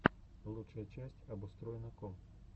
лучшая часть обустроено ком